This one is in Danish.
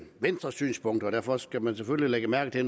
venstre synspunkter og derfor skal man selvfølgelig lægge mærke til at